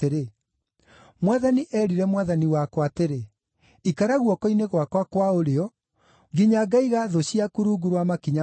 “ ‘Mwathani eerire Mwathani wakwa atĩrĩ: “Ikara guoko-inĩ gwakwa kwa ũrĩo, nginya ngaiga thũ ciaku rungu rwa makinya maku.” ’